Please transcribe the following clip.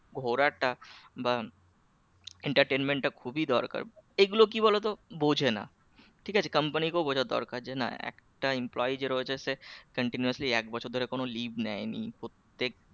ঘোরাটা বা entertainment টা খুবই দরকার এইগুলো কি বলতো বোঝে না ঠিক আছে company কেউ বোঝা দরকার যে না এক টা employee যে রোজ আসে continuously এক বছর ধরে কোন leave নেয়নি প্রত্যেক